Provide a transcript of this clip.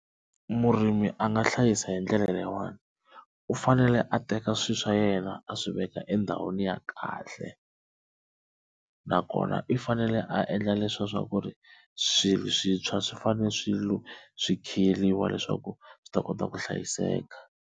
Murimi a nga hlayisa hi ndlela leyiwani u fanele a teka swilo swa yena a swi veka endhawini ya kahle nakona i fanele a endla leswiya swa ku ri swilo swintshwa swi fanele swi fanele swi swi khiyeriwa leswaku swi ta kota ku hlayiseka.